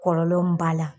Kɔlɔlɔ mun b'a la